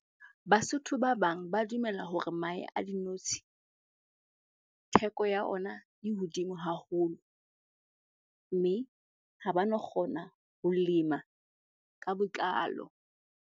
Basotho ba bang ba dumela hore mahe a dinotshi, theko ya ona e hodimo haholo mme ha ba no kgona ho lema ka botlalo.